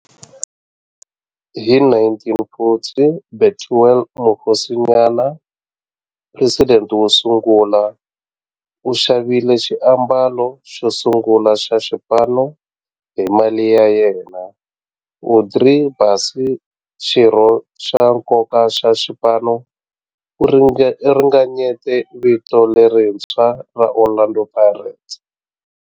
Hi 1940, Bethuel Mokgosinyane, president wo sungula, u xavile xiambalo xosungula xa xipano hi mali ya yena. Andrew Bassie, xirho xa nkoka xa xipano, u ringanyete vito lerintshwa ra 'Orlando Pirates'.